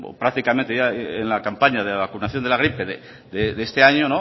prácticamente en la campaña de vacunación de la gripe de este año